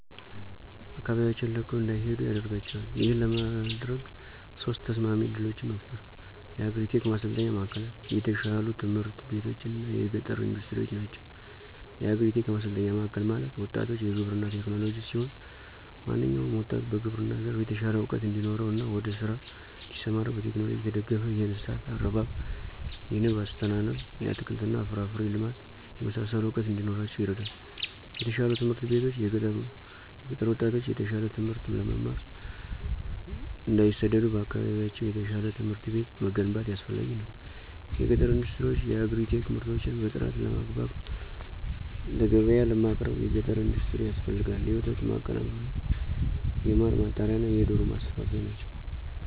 ከአካባቢያቸውን ለቀው እንዳይሄዱ ያደደርጋቸዋል። ይህን ለማድረግ ሶስት ተስማሚ እድሎችን መፍጠር። የአግሪ-ቴክ ማሠልጠኝ ማዕከልላት፣ የተሻሉ ትምህርት ቤቶች እና የገጠር ኢንዱስትሪዎች ናቸው። -የአግሪ-ቴክ ማሠልጠኛ ማዕከል ማለት፦ ወጣቶች የግብርና ቴክኖሎጅ ሲሆን። ማንኛውም ወጣት በግብርና ዘርፍ የተሻለ እውቀት እንዲኖረው እና ወደ ስራ እዲሠማራ በቴክኖሎጅ የተደገፈ የእንስሳት አረባብ፣ የንብ አስተናነብ፣ የአትክልት እና ፍራፍሬ ልማት የመሳሠሉ እውቀት እንዲኖራቸው ይረዳል። -የተሻሉ ትምህርት ቤቶች፦ የገጠር ጣቶች የተሻለ ትምህት ለመማር እንዳይሠደዱ በአካባቢያቸው የተሻለ ትምህርት ቤት መገንባት አስፈላጊ ነው። -የገጠር ኢንዱስትሪዎች፦ የየአግሪ-ቴክ ምርቶችን በጥራት ለገብያ ለማቅረብ የገጠር ኢንዱስትሪ ያስፈልጋል የወተት ማቀናበሪያ፣ የማር ማጣሪያ፣ እና የዶሮ ማስፈልፈያ ናቸው።